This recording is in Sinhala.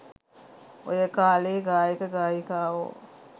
ඔය කාලෙ ගායක ගායිකාවො